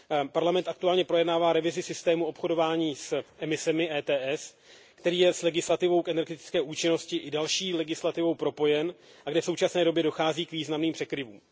Parlament aktuálně projednává revizi systému obchodování s emisemi který je s legislativou k energetické účinnosti i další legislativou propojen a kde v současné době dochází k významným překryvům.